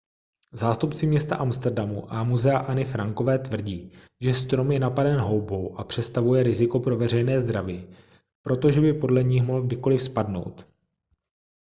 zástupci města amsterdamu a muzea anny frankové tvrdí že strom je napaden houbou a přestavuje riziko pro veřejné zdraví protože by podle nich mohl kdykoliv spadnout